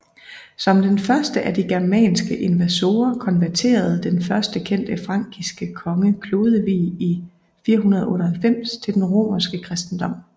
Som den første af de germanske invasorer konverterede den første kendte frankiske konge Klodevig i 498 til den romerske kristendom